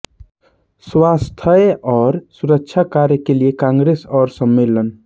स्वास्थ्य और सुरक्षा कार्य के लिए कांग्रेस और सम्मेलन